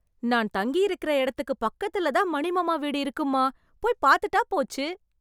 நான் தங்கியிருக்கற இடத்துக்கு பக்கத்துலதான் மணி மாமா வீடு இருக்குமா. போய்ப் பார்த்துட்டாப் போச்சு!